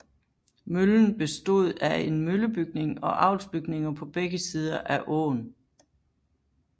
Møllen bestod af en møllebygning og avlsbygninger på begge sider af åën